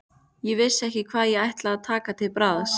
Ég vissi ekki hvað ég ætti að taka til bragðs.